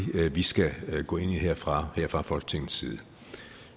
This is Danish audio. vi skal gå ind i her fra folketingets side